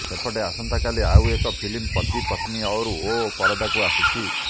ସେପଟେ ଆସନ୍ତାକାଲି ଆଉ ଏକ ଫିଲ୍ମ ପତି ପତ୍ନୀ ଔର୍ ଓ୍ୱ ପରଦାକୁ ଆସୁଛି